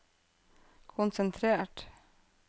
konsentrert